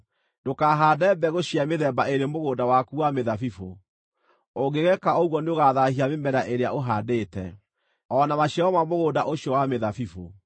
Ndũkahaande mbegũ cia mĩthemba ĩĩrĩ mũgũnda waku wa mĩthabibũ; ũngĩgeeka ũguo nĩũgathaahia mĩmera ĩrĩa ũhaandĩte, o na maciaro ma mũgũnda ũcio wa mĩthabibũ.